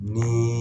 Ni